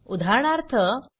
easy